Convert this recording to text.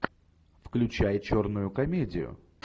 включай черную комедию